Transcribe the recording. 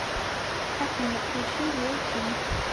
афина включи лил ким